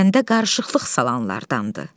Kəndə qarışıqlıq salanlardandır.